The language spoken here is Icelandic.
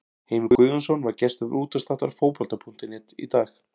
Heimir Guðjónsson var gestur útvarpsþáttar Fótbolta.net í dag.